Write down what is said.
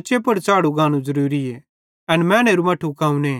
उच्चे पुड़ च़ढ़नू ज़रूरीए एन मैनेरे मट्ठे कौने